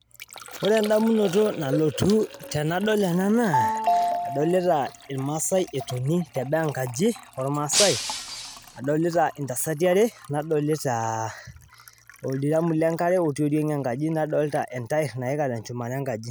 ore endamunoto nalotu indamunot naa kadoolta irmaasae loogira aatoni teboo nadoolta enkaji tenebo oldiraam lenkare tenebo entair natii shumata enkaji